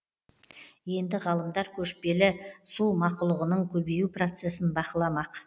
енді ғалымдар көшпелі су мақұлығының көбею процесін бақыламақ